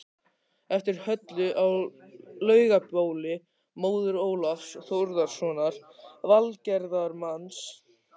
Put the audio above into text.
eftir Höllu á Laugabóli, móður Ólafs Þórðarsonar velgerðarmanns